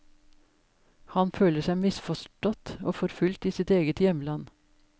Han føler seg misforstått og forfulgt i sitt eget hjemland.